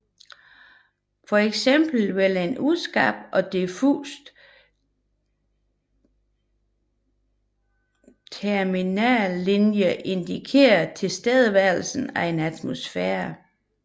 For eksempel vil en uskarp og diffus terminatorlinje indikere tilstedeværelse af en atmosfære